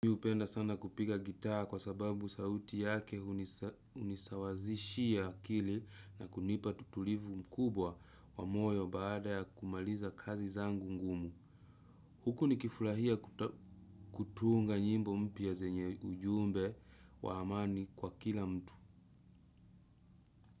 Miupenda sana kupiga gita kwa sababu sauti yake unisawazishia akili na kunipa tutulivu mkubwa wa moyo baada ya kumaliza kazi zangu ngumu. Huku nikifurahia kutunga nyimbo mpia zenye ujumbe wa amani kwa kila mtu.